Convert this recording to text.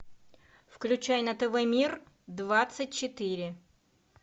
включай на тв мир двадцать четыре